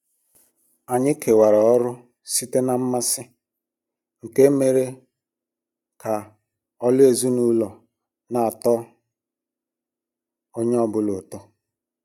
Anyị kewara ọrụ site na mmasị, nke mere ka ọlụ ezinụlọ n'atọkwu onye ọ bụla ụtọ.